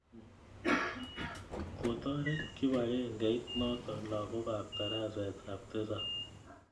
Kotoret kipakengeit notok lagok ap tarasetap tisap